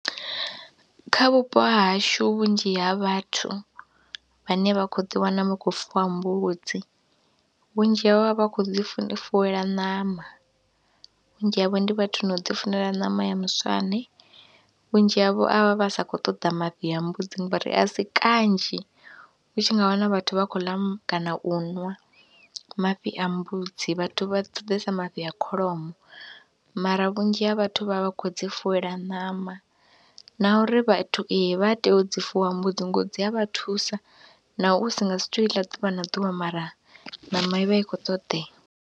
Kha vhupo ha hashu vhunzhi ha vhathu vhane vha khou ḓiwana vha khou fuwa mbudzi vhunzhi havho vha vha khou dzi fuwela ṋama, vhunzhi havho ndi vhathu na u ḓifunela ṋama ya muswane. Vhunzhi havho a vha vha sa khou ṱoḓa mafhi a mbudzi ngori a si kanzhi hu tshi nga wana vhathu vha khou ḽa kana u ṅwa mafhi a mbudzi, vhathu vha dzulesa mafhi a kholomo mara vhunzhi ha vhathu vha vha vha khou dzi funela ṋama na uri vhathu ee vha tea u dzi fuwa mbudzi ngori dzi a vha thusa naho u si nga si tou i ḽa ḓuvha na ḓuvha mara ṋama i vha i khou ṱoḓea.